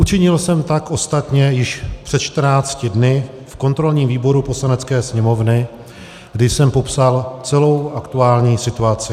Učinil jsem tak ostatně již před 14 dny v kontrolním výboru Poslanecké sněmovny, kdy jsem popsal celou aktuální situaci.